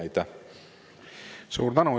Suur tänu!